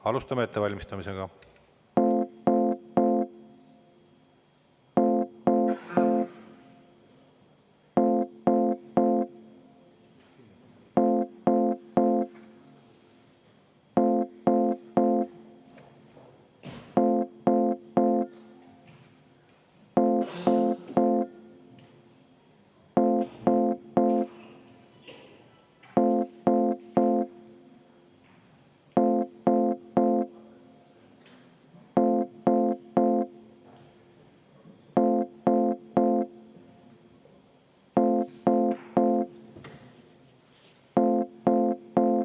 Alustame ettevalmistamist.